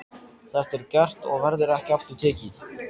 Þetta er gert og verður ekki aftur tekið.